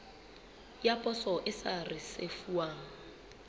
ya poso e sa risefuwang